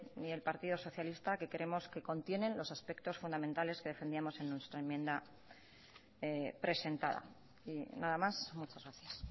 y el partido socialista que creemos que contienen los aspectos fundamentales que defendíamos en nuestra enmienda presentada nada más muchas gracias